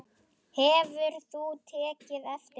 Hefur þú tekið eftir því?